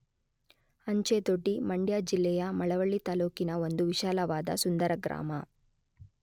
ಅಂಚೆದೊಡ್ಡಿ ಮಂಡ್ಯ ಜಿಲ್ಲೆಯ ಮಳವಳ್ಳಿ ತಾಲ್ಲೂಕಿನ ಒಂದು ವಿಶಾಲವಾದ ಸುಂದರ ಗ್ರಾಮ.